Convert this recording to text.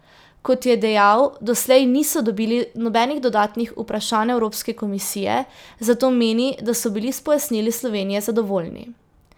Kot je dejal, doslej niso dobili nobenih dodatnih vprašanj Evropske komisije, zato meni, da so bili s pojasnili Slovenije zadovoljni.